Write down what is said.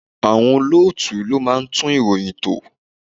Àwọn olóòtú ló máa ń tún ìròyìn tò.